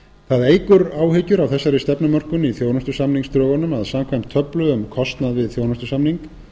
það eykur áhyggjur af þessari stefnumörkun í þjónustusamningsdrögunum að samkvæmt töflu um kostnað við þjónustusamning